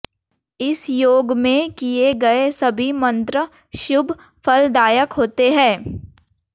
इस योग में किए गए सभी मंत्र शुभ फल दायक होते हैं